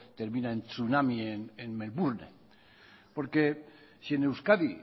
termina en tsunami en melbourne porque si en euskadi